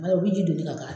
Ala u bɛ ji don ne ka